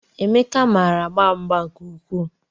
Emeka maara agba mgba nke ukwuu